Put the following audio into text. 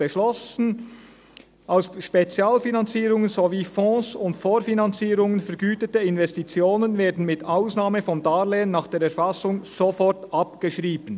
«Aus Spezialfinanzierungen sowie Fonds und Vorfinanzierungen vergütete Investitionen werden mit Ausnahme von Darlehen nach der Erfassung sofort abgeschrieben.